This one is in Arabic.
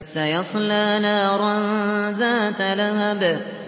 سَيَصْلَىٰ نَارًا ذَاتَ لَهَبٍ